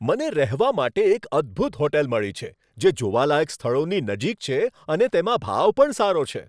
મને રહેવા માટે એક અદ્ભુત હોટેલ મળી છે જે જોવાલાયક સ્થળોની નજીક છે અને તેમાં ભાવ પણ સારો છે.